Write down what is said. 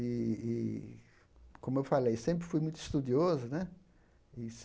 E, e como eu falei, sempre fui muito estudioso, né?